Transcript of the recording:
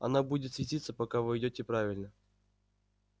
она будет светиться пока вы идёте правильно